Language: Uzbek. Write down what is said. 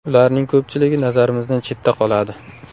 Ularning ko‘pchiligi nazarimizdan chetda qoladi.